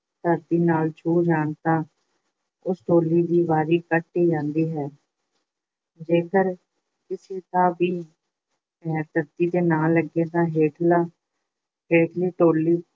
ਧਰਤੀ ਨਾਲ ਛੂਹ ਜਾਣ ਤਾਂ ਉਸ ਟੋਲੀ ਦੀ ਵਾਰੀ ਕੱਟੀ ਜਾਂਦੀ ਹੈ। ਜੇਕਰ ਕਿਸੇ ਦਾ ਵੀ ਪੈਰ ਧਰਤੀ ਤੇ ਨਾ ਲੱਗੇ ਤਾਂ ਹੇਠਲਾ ਹੇਠਲੀ ਟੋਲੀ